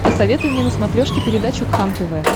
посоветуй мне на смотрешке передачу кхлм тв